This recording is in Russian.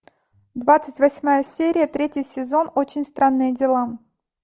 двадцать восьмая серия третий сезон очень странные дела